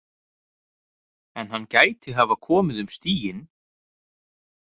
En hann gæti hafa komið um stíginn?